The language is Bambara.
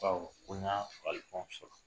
Baw ko n y'a fagalifɛnw sɔrɔ